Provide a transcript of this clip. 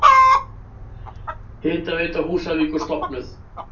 Hitaveita Húsavíkur stofnuð.